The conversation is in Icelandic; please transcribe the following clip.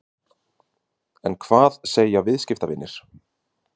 En hvað segja viðskiptavinir?